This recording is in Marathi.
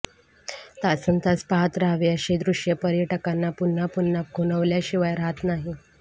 तासंतास पहात रहावे अशे दृश्य पर्यटकांना पुन्हां पुन्हा खुनावल्या शिवाय राहत नाही